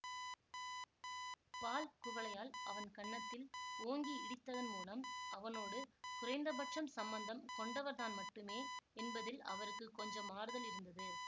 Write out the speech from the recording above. பால் குவளையால் அவன் கன்னத்தில் ஓங்கி இடித்ததன் மூலம் அவனோடு குறைந்த பட்சம் சம்பந்தம் கொண்டவர் தான் மட்டுமே என்பதில் அவருக்கு கொஞ்சம் ஆறுதல் இருந்தது